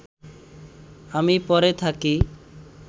আমি পড়ে থাকি